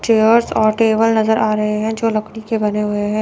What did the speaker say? Chairs और table नजर आ रहे है जो लकड़ी के बने हुए है।